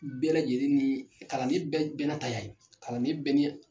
Bɛɛ lajɛlen ni kalanden bɛɛ n'a ta y'a ye kalanden bɛɛ ni